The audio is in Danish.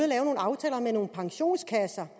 lave nogle aftaler med nogle pensionskasser